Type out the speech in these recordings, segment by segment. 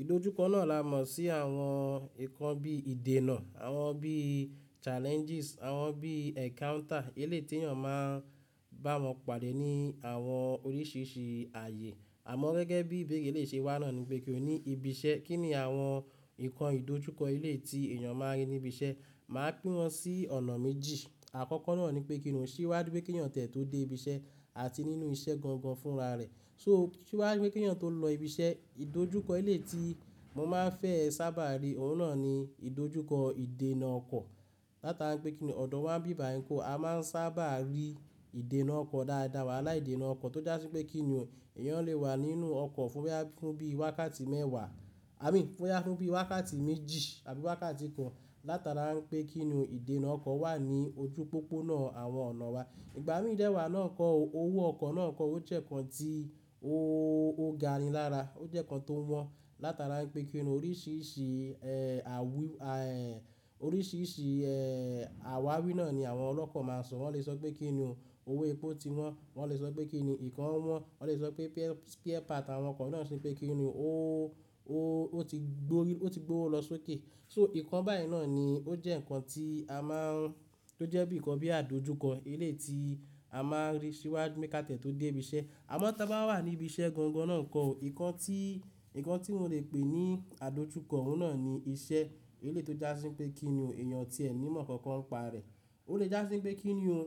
Ìdojúkọ náà la mọ̀ sí àwọn nǹkan bíi iìdènà, àwọn bíi challenges, àwọn bíi encounter eléyìí tí èèyàn máa ń bá wọn pàdé ní àwọn oríṣiríṣi ààyè. Àmọ́ gẹ́gẹ́ bí ìbéèrè lè ṣe wá náà ni pé kínní ibi iṣẹ́, kínní àwọn ìkàn ìdojúkọ eleyii tí èèyàn máa ń rí níbi iṣẹ́. Màá pín wọn sí ọ̀nà méjì. Àkọ́kọ́ náà ni pé kínní sìwáju pé kí èèyàn tẹ̀ tó dé ibi iṣẹ́ àti nínú iṣẹ́ gangan fúnra rẹ̀. So sìwáju pé kí èèyàn tó lọ ibi iṣẹ́, ìdojúkọ ilé tí mo máa ń fẹ́ sábà rí òun náà ni ìdojúkọ ìdènà ọkọ̀. Látara pé kíni ọ̀dọ̀ wá ń bíba ìyí, a máa ń sábà rí ìdènà ọkọ̀ dáadáa, wahala ìdènà ọkọ̀ tó já sí pé kíni èèyàn lè wà nínú ọkọ̀ fún bóyá bíi wákàtí mẹ́wá, àbí fún bíi wákàtí méjì, àbí wákàtí kan. Látara pé kí ni ìdènà ọkọ̀ wà ní ojú pópó náà àwọn ọ̀nà wa. Ìgbà mí dẹ̀ wá náà kọ́ o, owó ọkọ̀ náà kọ́ ó, ojẹ́ ǹkan tí ó gani lára. Ó jẹ́ ǹkan tó wọ́n látara pé kíni oríṣiríṣi, ẹ́, oríṣiríṣi, ẹ́, àwárí náà ni àwọn ọlọ́kọ̀ máa sọ. Wọ́n lè sọ pé kíni o owó epo ti wọ́n, wọ́n lè sọ pé kíni ìkan wọ́n, wọ́n lè sọ pé spare part àwọn ọkọ̀ náà ṣe pé kí ni ó, ó ti gbórí, ó ti gbówó lọ sókè. So ìkan báyìí náà ni ó jẹ́ ǹkan tí a máa ń, tó jẹ́ bíi ǹkan bíi àdojúkọ eléyìí tí a máa ń rí síwájú pe ká tẹ tó dé ibi iṣẹ́. Àmọ́ tí a bá wà ní ibi iṣẹ́ gangan náà kọ́, ǹkan tí, ǹkan tí mo le pè ní àdojúkọ òun náà ni iṣẹ́ eléyìí tó já sí pé kíni o, èèyàn o tíẹ ní ìmọ̀ kankan pa rẹ̀. Ó lè já sí pé kíni ò,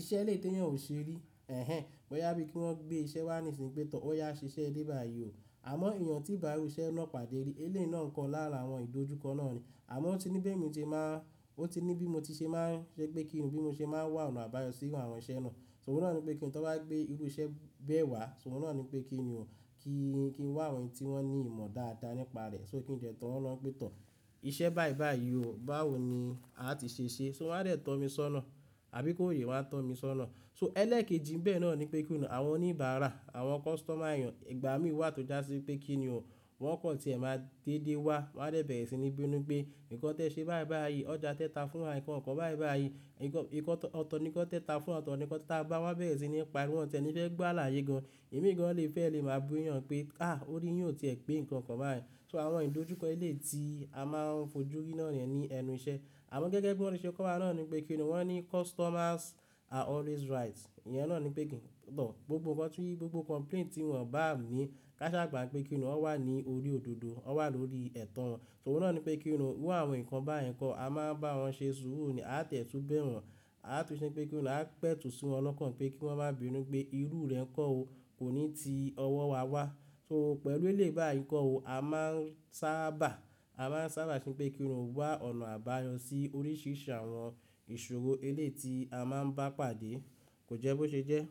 iṣẹ́ eléyìí tí èèyàn ò ṣe rí. Ẹ̀hẹn, bóyá bí kí wọ́n gbé iṣẹ́ wá nísìnyí pé tọ́, ó yá ṣiṣẹ́ dé bá yí ò. Àmọ́ èèyàn tí ń bá rú iṣẹ́ náà pàdé rí, eléyìí náà kọ́ lára àwọn ìdojúkọ náà ni. Àmọ́ ó ti ní bí èmi ti máa ń, ó ti ní bí mo ti ṣe máa ń ṣe pé kíní bí mo ṣe máa ń wá ọ̀nà àbáyọ sí àwọn iṣẹ́ náà. Òun náà ni pé kíni tó bá gbé irú iṣẹ́ bẹ́ẹ̀ wá, so òun náà ni pé kíni ò, kí n wá àwọn ẹni tí wọ́n ní ìmọ̀ dáadáa nípa rẹ̀. So kí n jẹ́ tọ́ wọn lọ pẹ̀, tọ́ iṣẹ́ báì báì yìí o, báwo ni a ti ṣe ṣe? So wọ́n á dẹ̀ tọ́ mi sọ́nà, àbí kòye wa ń tọ́ mi sọ́nà. So ẹlẹ́ẹ̀kejì bẹ́ẹ̀ náà ni pé kíni, àwọn oníbàárà, àwọn customer èèyàn, ìgbà mí wá tó já sí pé kíni ò, wọ́n kọ́ tí ẹ máa dédé wá, wọ́n á dẹ̀ bẹ̀rẹ̀ sí ní bínú pé nǹkan tẹ ṣe báì báì yìí, ọjà tẹ ta fún wa, nǹkan kọ̀ báì báì yìí, nǹkan, nǹkan ọ̀tọ̀ ni ko tẹ ta fún wa, ọ̀tọ̀ ni ko tẹ táa bá wá bẹ̀rẹ̀ sí ní pa wọ́n, tẹ ní ìfẹ́ gbà láyé gan. Èmi gan lè fẹ́ lè máa bú èèyàn pé, ah! Ó rí yàn tí ẹ pé nǹkan kan bá yẹn. So àwọn ìdojúkọ ilé tí a máa ń fojú rí náà ni lẹnu iṣẹ́. Àmọ́ gẹ́gẹ́ bí wọ́n tí ṣe kó wa náà ni pé kíni o, wọ́n ní customers are always right. Ìyẹn náà ni pé kí n tọ̀ gbogbo nǹkan tí, gbogbo complaint tí wọ́n bá ni káṣa àgbà pé kíniki ó wà ní orí òdodo, ó wà lórí ẹ̀tàn wọn. Òun náà ni pé kíni o, wù àwọn ǹkan bá yẹn kọ́, a máa ń bá wọn ṣe súùru ní, a tẹ̀tú bẹ́ẹ̀ wọ́n, a tún ṣe pé kíni a pẹ̀tù sí wọn lọ́kàn pé kí wọ́n má bíi bínú pé irú rẹ̀ ń kọ́ o, kò ní ti ọwọ́ wa wá. So pẹ̀lú eléyìí báyìí kọ́ o, a máa ń sábà, a máa ń sábà ṣe pé kíni wá ọ̀nà àbáyọ sí oríṣiríṣi àwọn ìṣòro eléyìí tí a máa ń bá pàdé, kò jẹ́ bó ṣe jẹ́.